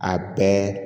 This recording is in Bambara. A bɛɛ